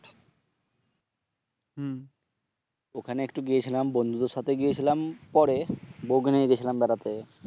ওখানে একটু গিয়েছিলাম বন্ধুদের সাথে গিয়েছিলাম পরে, বউকে নিয়ে গেছিলাম বেড়াতে